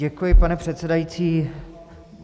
Děkuji, pane předsedající.